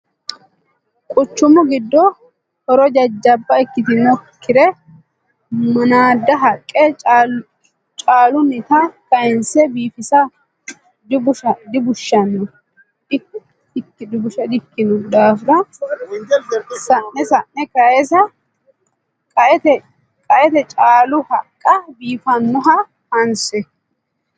Quchumu giddo horo jajjabba ikkitinokkire manada haqqe caalunitta kayinse biifissa dibushano ikkino daafira sa'ne sa'ne kayisi'no qaete caalu haqqa biifanoha hanse.